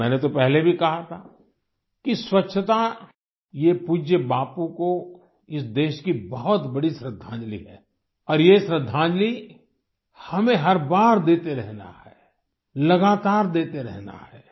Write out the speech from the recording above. और मैंने तो पहले भी कहा था कि स्वच्छता ये पूज्य बापू को इस देश की बहुत बड़ी श्रद्धांजलि है और ये श्रद्धांजलि हमें हर बार देते रहना है लगातार देते रहना है